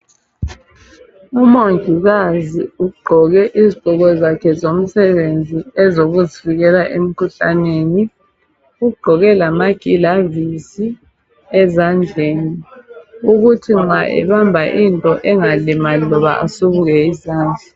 Umongikazi ugqoke izigqoko zakhe zomsebenzi ezokuzivikela emkhuhlaneni. Ugqoke lamagilavisi ezandleni ukuthi nxa ebamba into engalimali loba esubuke izandla.